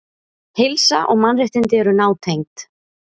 Heilsa og mannréttindi eru nátengd.